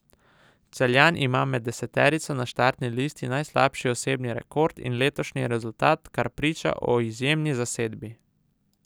Celjan ima med deseterico na štartni listi najslabši osebni rekord in letošnji rezultat, kar priča o izjemni zasedbi.